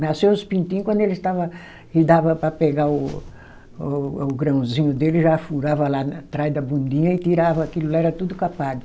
Nasceu os pintinho quando eles estava, que dava para pegar o o o grãozinho dele, já furava lá atrás da bundinha e tirava aquilo lá, era tudo capado.